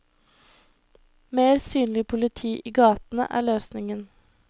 Mer synlig politi i gatene er løsningen.